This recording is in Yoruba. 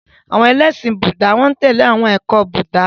Àwọn ẹlẹ́ṣin Búúdà n tẹ̀lé awọn ẹkọ ti Búúdà.